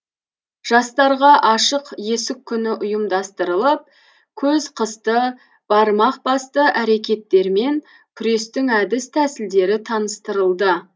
жастарға ашық есік күні ұйымдастырылып көз қысты бармақ басты әрекеттермен күрестің әдіс тәсілдері таныстырылды